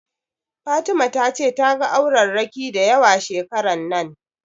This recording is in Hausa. Fatima ta ce ta ga aurerraki dayawa shekaran nan